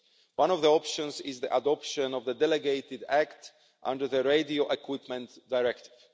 One of the options is the adoption of the delegated act under the Radio Equipment Directive.